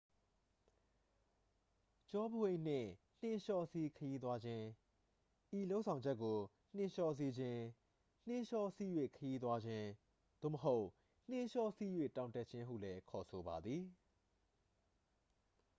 ကျောပိုးအိတ်နှင့် နှင်းလျှောစီး ခရီးသွားခြင်း ဤလုပ်ဆောင်ချက်ကို နှင်းလျှောစီးခြင်း နှင်းလျှောစီး၍ ခရီးသွားခြင်း သို့မဟုတ် နှင်းလျှောစီး၍ တောင်တက်ခြင်း ဟုလည်း ခေါ်ဆိုပါသည်